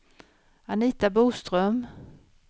Anita Boström